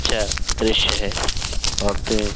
अच्छा दृश्य है। औरतें --